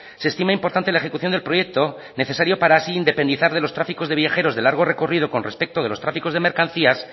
se estima importante la ejecución del proyecto necesario para así independizar de los tráficos de viajeros de largo recorrido con respecto de los tráficos de mercancías